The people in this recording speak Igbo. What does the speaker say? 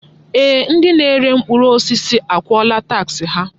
Ee! Ndị na-ere mkpụrụ osisi akwụọla taksị ha.